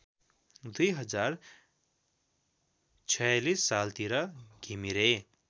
२०४६ सालतिर घिमिरे